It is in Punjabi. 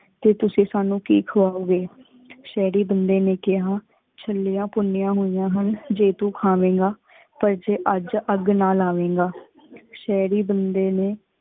ਤੇ ਤੁਸੀਂ ਸਾਨੂ ਕੀ ਖੁਵਾਓ ਗੇ। ਸ਼ਹਰੀ ਬੰਦੇ ਨੀ ਕਿਹਾ, ਛੱਲੀਆਂ ਭੁਨਿਯਾ ਹੋਇਆ ਹਨ ਜੇ ਤੂੰ ਖਾਵੇਗਾ ਪਰ ਅਜ ਅੱਗ ਨਾ ਲਾਵੇਗਾ। ਸ਼ਹਰੀ ਬੰਦੇ ਨੇ